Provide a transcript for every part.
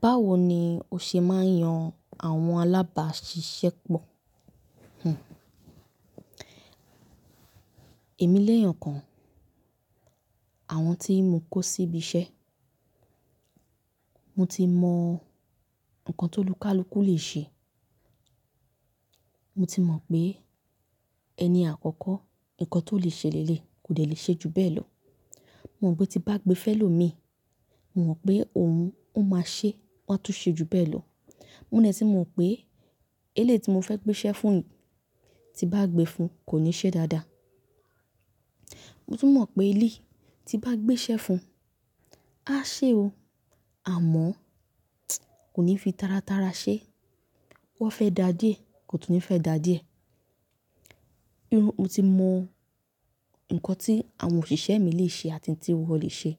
Báwo ni o ṣe máa ń yan àwọn alábàáṣiṣẹ́ pọ̀? Èmi léèyàn kan, àwọn tí mo kó síbi iṣẹ́, mo ti mọ nǹkan tó lúkúàlúkú lè ṣe. Mo ti mọ̀ pé ẹni àkọ́kọ́, nǹkan tó lè ṣe léèlé kò lè ṣe ju bẹ́ẹ̀ lọ. Mo mọ̀ pé tí bá gbé fẹ́lọ́ mi, mo mọ̀ pé òun máa ṣe, wọ́n á tún ṣe ju bẹ́ẹ̀ lọ. Mo dẹ̀ tí ní mọ̀ pé eléèti mo fẹ́ gbé iṣẹ́ fún, tí bá gbé fún kò ní ṣe dáadáa. Mo tún mọ̀ pé èléyìí tí ń bá gbé iṣẹ́ fún, a ṣe o, àmọ́ kò ní fi taratara ṣe. Wọ́n fẹ́ dàdíẹ̀, kò tún ní fẹ́ dàdíẹ̀. Irú, mo ti mọ̀ nǹkan tí àwọn òṣìṣẹ́ mi lè ṣe àti tí wọn lè ṣe.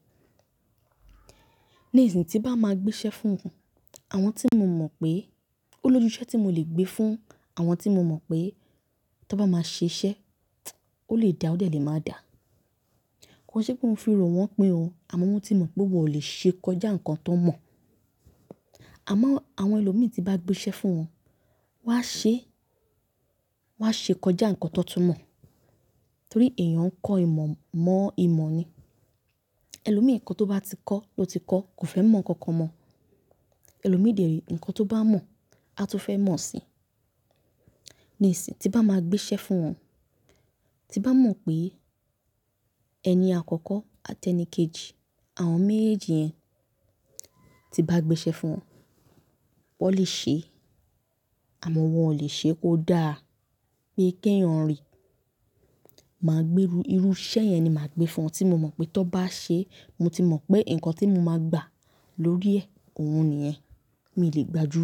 Ni ìsìn tí bá máa gbé iṣẹ́ fún un, àwọn tí mo mọ̀ pé, olójúṣẹ́ tí mo lè gbé fún, àwọn tí mo mọ̀ pé tó bá máa ṣe iṣẹ́, ó lè dà, ó dẹ́ lè máa dà. Ko ń ṣe pé mo fi rò wọn pín o, àmọ́ mo ti mọ̀ pé wọn ò lè ṣe kọjá nǹkan tọ mọ̀. Àmọ́ àwọn ẹlòmíì tí bá gbé iṣẹ́ fún wọn, wọ́n á ṣe, wọ́n á ṣe kọjá nǹkan tó tún mọ̀. Nítorí èèyàn kọ́ ìmọ̀ mọ́ ìmọ̀ ni. Ẹlòmíì nǹkan tó bá ti kọ́, ló ti kọ́, kò fẹ́ mọ̀ nǹkan kan mọ́. Ẹlòmíì dèrí nǹkan tó bá mọ̀, a tún fẹ́ mọ̀ si. Ni ìsìn tí bá máa gbé iṣẹ́ fún wọn, tí bá mọ̀ pé ẹni àkọ́kọ́ àti ẹni kejì, àwọn méjèèjì yẹn tí bá gbé iṣẹ́ fún wọn, wọ́n lè ṣe, àmọ́ wọn ò lè ṣe kó dà, pé kí ẹ̀yin rí. Màá gbé irú iṣẹ́ yẹn ni màá gbé fún wọn tí mo mọ̀ pé tó bá ṣe, mo ti mọ̀ pé nǹkan tí mo máa gbà lórí ẹ̀, òun nìyẹn. Mi ò lè gbà ju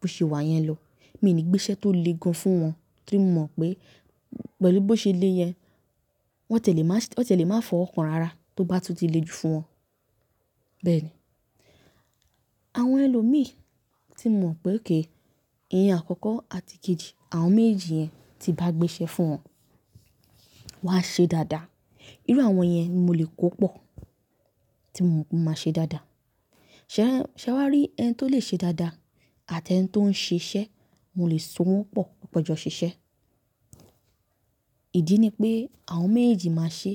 bó ṣe wà yẹn lọ. Mi ò ní gbé iṣẹ́ tó le gan fún wọn kí n mọ̀ pé pẹ̀lú bó ṣe le yẹn, wọ́n tẹ̀ lè máa fọ́ wọn kan rara tó bá tún ti le jù fún wọn. Bẹ́ẹ̀ ni, àwọn ẹlòmíì tí mo mọ̀ pé okay ìyẹn àkọ́kọ́ àti kejì, àwọn méjèèjì yẹn tí bá gbé iṣẹ́ fún wọn, wọ́n á ṣe dáadáa. Irú àwọn yẹn ni mo lè kó pọ̀ tí mo pé wọ́n máa ṣe dáadáa. Ṣé wá rí ẹni tó lè ṣe dáadáa àti ẹni tó ń ṣe iṣẹ́, mo lè so wọ́n pọ̀, kan jọ ṣe iṣẹ́. Ìdí ni pé àwọn méjèèjì máa ṣe,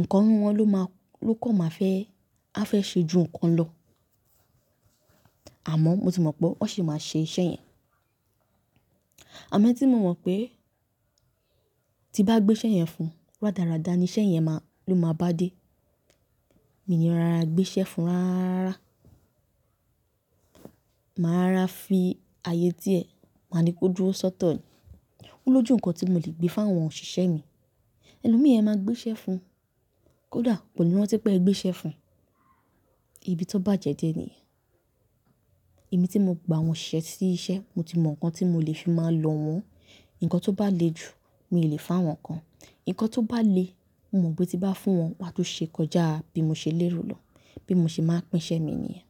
nǹkan nínú wọn ló máa, ló kọ̀ máa fẹ́, a fẹ́ ṣe ju nǹkan lọ. Àmọ́ mo ti mọ̀ pé wọ́n sì máa ṣe iṣẹ́ yẹn. Àmọn ẹni tí mo mọ̀ pé tí bá gbé iṣẹ́ yẹn fún, dáradára ni iṣẹ́ yẹn ló máa bá dé. Mi ní rán ara gbé iṣẹ́ fún rárára. Màá rọra fi ààyè tí ẹ̀, màá ni kó dúró sọ́ọ̀ ní. Ó lójú nǹkan tí mo lè gbé fún àwọn òṣìṣẹ́ mi. Ẹlòmíì ẹ máa gbé iṣẹ́ fún, kó dà, kò ní rántí pé ẹ gbé iṣẹ́ fún. Ibi tó bá jẹ dé ní yẹn. Èmi tí mo gba àwọn òṣìṣẹ́ sí iṣẹ́, mo ti mọ̀ nǹkan tí mo lè fi máa lọ̀ wọ́n. Nǹkan tó bá le ju, mi ò lè fún wọn kan. Nǹkan tó bá le, mo mọ̀ pé tí bá fún wọn, wọ́n á tún ṣe kọjá bí mo ṣe lérò lọ, bí mo ṣe máa ń pín iṣẹ́ mi nìyẹn.